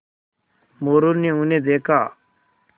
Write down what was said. मोरू ने उन्हें देखा